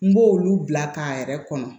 N b'olu bila k'a yɛrɛ kɔnɔ